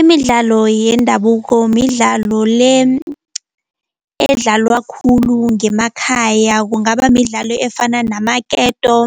Imidlalo yendabuko midlalo le edlalwa khulu ngemakhaya kungaba midlalo efana namaketo,